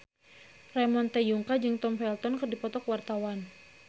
Ramon T. Yungka jeung Tom Felton keur dipoto ku wartawan